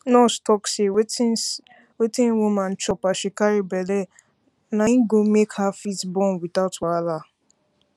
nurse talk say wetin say wetin woman chop as she carry belle na go make her fit born without wahala